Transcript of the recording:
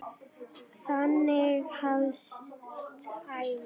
Þannig hefst ævin.